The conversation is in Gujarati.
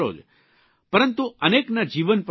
પરંતુ અનેકના જીવન પણ બચાવશો